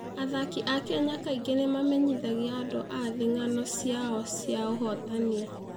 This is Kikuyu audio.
Athaki a Kenya kaingĩ nĩ mamenyithagia andũ a thĩ ng'ano ciao cia ũhootani.